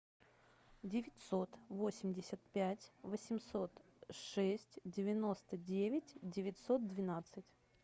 девятьсот восемьдесят пять восемьсот шесть девяносто девять девятьсот двенадцать